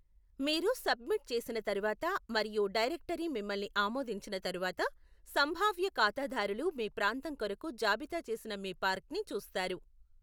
మీరు సబ్మిట్ చేసిన తరువాత మరియు డైరెక్టరీ మిమ్మల్ని ఆమోదించిన తరువాత, సంభావ్య ఖాతాదారులు మీ ప్రాంతం కొరకు జాబితా చేసిన మీ పార్క్ని చూస్తారు.